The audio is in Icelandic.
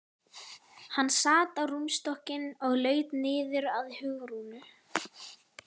Hann sat á rúmstokkinn og laut niður að Hugrúnu.